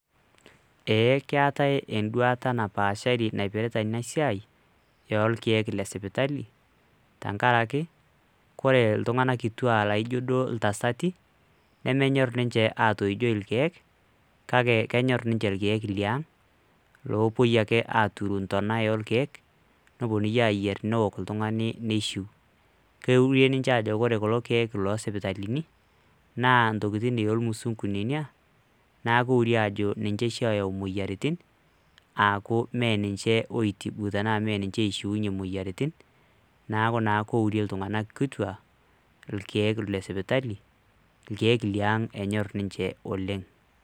Eee keetai enduata napaashari naipirta ena siai lorkeek le sipitali tenkakaraki kore iltung'anak kituak laijo duo iltasati nemenyor ninje atoijoi irkeek kake kenyor ninje irkeek liang' loipui aturu ntona orkeek neponunui ayer newok oltung'ani nishiu. Keure ninje ajo kore kulo keek lo sipitalini naa ntokitin ormusung'u nena, naaku eure aajo ninje oshi oyau moyiaritin aaku me ninje oitibu tenaa mee ninje oishiunye moyiaritin. neeku naa keure iltung'anak kituak irkeek le sipitali neeku irkeek liang' enyor ninje oleng'.